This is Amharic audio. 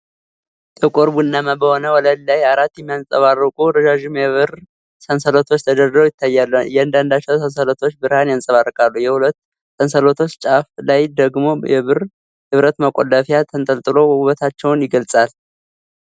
ጥቁር ቡናማ በሆነ ወለል ላይ አራት የሚያብረቀርቁ ረዣዥም የብር ሰንሰለቶች ተደርድረው ይታያሉ። እያንዳንዳቸው ሰንሰለቶች ብርሃን ያንጸባርቃሉ፣ የሁለት ሰንሰለቶች ጫፍ ላይ ደግሞ የብረት መቆለፊያ ተንጠልጥሎ ውበታቸውን ይገልጻል።